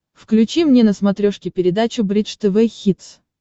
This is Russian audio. включи мне на смотрешке передачу бридж тв хитс